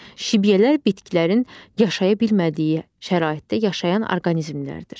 Şibyələr bitkilərin yaşaya bilmədiyi şəraitdə yaşayan orqanizmlərdir.